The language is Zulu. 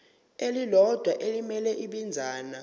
elilodwa elimele ibinzana